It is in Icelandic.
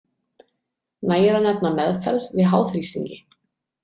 Nægir að nefna meðferð við háþrýstingi.